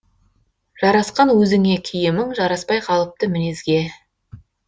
жарасқан өзіңе киімің жараспай қалыпты мінезге